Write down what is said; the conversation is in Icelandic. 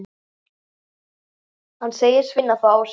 Hann segist finna það á sér.